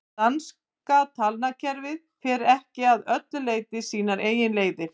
danska talnakerfið fer ekki að öllu leyti sínar eigin leiðir